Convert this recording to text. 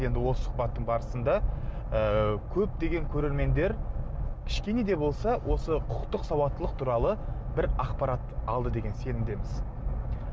енді осы сұхбаттың барысында ы көптеген көрермендер кішкене де болса осы құқықтық сауаттылық туралы бір ақпарат алды деген сенімдеміз